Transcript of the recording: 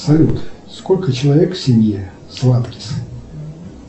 салют сколько человек в семье сладкис